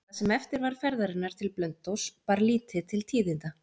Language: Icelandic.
Það sem eftir var ferðarinnar til Blönduóss bar lítið til tíðinda.